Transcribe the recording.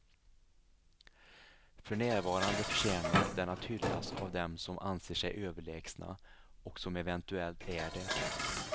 För närvarande förtjänar den att hyllas av dem som anser sig överlägsna, och som eventuellt är det.